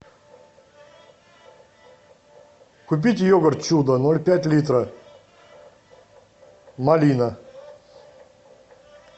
купить йогурт чудо ноль пять литра малина